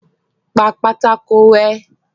Pa pátákó rẹ́.